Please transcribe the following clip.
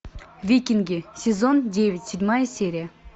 викинги сезон девять седьмая серия